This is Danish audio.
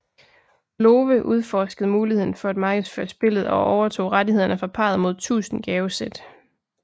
Lowe udforskede muligheden for at markedsføre spillet og overtog rettighederne fra parret mod tusind gavesæt